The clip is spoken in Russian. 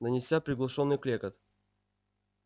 донёсся приглушённый клёкот